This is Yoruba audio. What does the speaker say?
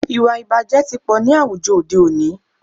Ìwàìbàjẹ́ tí pọ̀ ní àwùjọ òde òní.